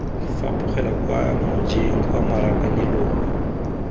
fapogela kwa mojeng kwa marakanelong